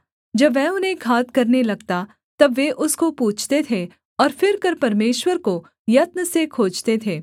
जब वह उन्हें घात करने लगता तब वे उसको पूछते थे और फिरकर परमेश्वर को यत्न से खोजते थे